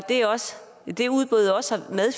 det udbud også har